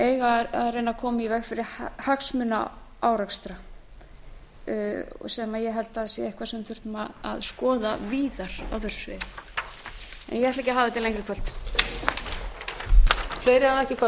eiga að koma í veg fyrir hagsmunaárekstra sem ég held að sé eitthvað sem við þyrftum að skoða víðar á þessu sviði ég ætla ekki að hafa þetta lengra í kvöld